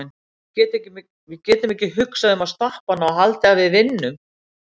Við getum ekki hugsað um að stoppa hana og haldið að við vinnum.